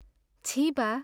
छिः बा!